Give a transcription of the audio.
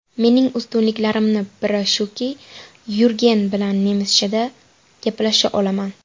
Mening ustunliklarimni bir shuki, Yurgen bilan nemischada gaplasha olaman.